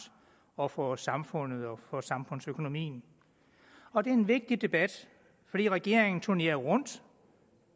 og for samfundet og samfundsøkonomien og det er en vigtig debat fordi regeringen har turneret rundt